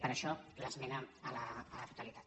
per això l’esmena a la totalitat